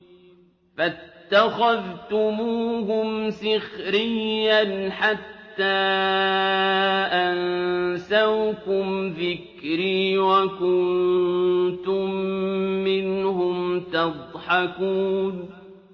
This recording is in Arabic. فَاتَّخَذْتُمُوهُمْ سِخْرِيًّا حَتَّىٰ أَنسَوْكُمْ ذِكْرِي وَكُنتُم مِّنْهُمْ تَضْحَكُونَ